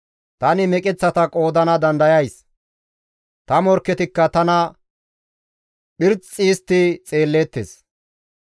Tani meqeththata qoodana dandayays; ta morkketikka tana phirxi histti xeelleettes.